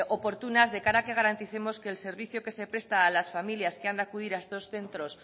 oportunas de cara a que garanticemos que el servicio que se presta a las familias que han de acudir a estos centros